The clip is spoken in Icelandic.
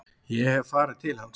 Ég hef farið til hans.